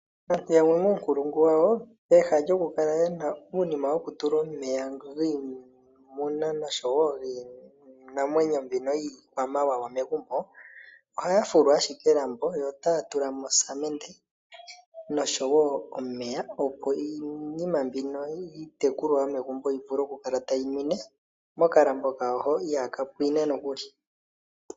Aantu yamwe muunkulungu wawo peha lyoku kala yena uunima wo kutula omeya giimuna noshowo giinimawneyo mbino yiikwamawawa ohaya fulu ashike elambo yo otaya tulamo osamende noshowo omeya opo iinima mbino yiitekulwa yomegumbo yikale tayi ninwe mokalambo kawo hono ihaaka pwine nokuli.